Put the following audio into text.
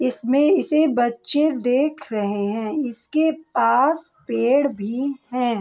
इसमें इसे बच्चे देख रहे हैं इसके पास पेड़ भी हैं।